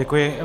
Děkuji.